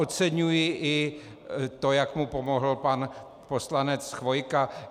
Oceňuji i to, jak mu pomohl pan poslanec Chvojka.